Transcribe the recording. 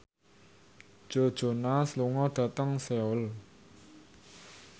Joe Jonas lunga dhateng Seoul